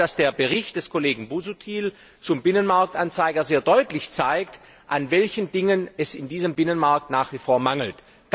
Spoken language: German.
Ich glaube, dass der Bericht des Kollegen Busuttil zum Binnenmarktanzeiger sehr deutlich zeigt, an welchen Dingen es in diesem Binnenmarkt nach wie vor mangelt.